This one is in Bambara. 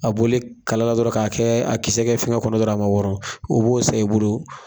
A bɔlen kalala dɔrɔn k'a kɛ a kisɛ kɛ fɛngɛ kɔnɔ dɔrɔn a ma wɔɔrɔn, o b'o san i bolo